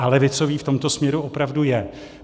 A levicový v tomto směru opravdu je.